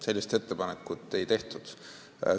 Sellist ettepanekut ei tehtud.